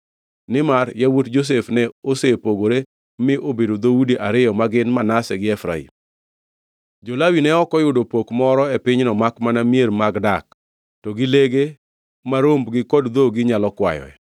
nimar yawuot Josef ne osepogore mi obedo dhoudi ariyo ma gin, Manase gi Efraim. Jo-Lawi ne ok oyudo pok moro e pinyno makmana mier mag dak, to gi lege ma rombgi kod dhogi nyalo kwayoe.